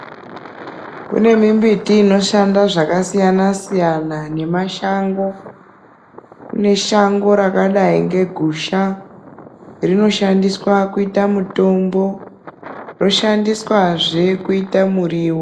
Kune mimbiti inoshanda zvakasiyana-siyna nemashango kune shango rakadai ngegusha rinoshandiswa kuita mutombo roshandiswazve kuita muriwo.